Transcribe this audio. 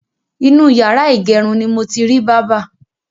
Inú yàrá ìgẹrun ni mo ti rí bábà.